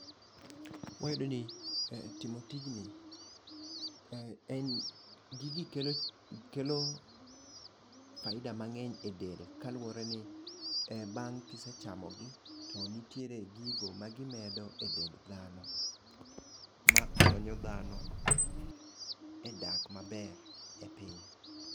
Wayudo ni e timo tijni , en gigi kelo kelo faida mang'eny e del kaluwore ni bang' kisechamo gi ,to nitiere gigo ma gimedo e dend dhano makonyo dhano e dak maber e piny.